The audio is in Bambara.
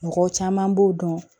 Mɔgɔ caman b'o dɔn